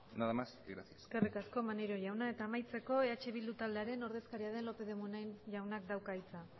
nada más y gracias eskerrik asko maneiro jauna eta amaitzeko eh bildu taldearen ordezkaria den lópez de munain jaunak dauka hitza